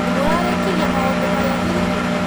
Nĩ mũrarĩkirie maũndũmarĩa hihi?